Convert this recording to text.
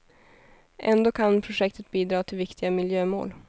Ändå kan projektet bidra till viktiga miljömål.